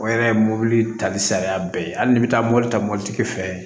O yɛrɛ ye mɔbili tali sariya bɛɛ hali n'i bɛ taa mobili ta mobilitigi fɛ